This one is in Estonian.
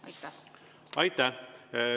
Aitäh!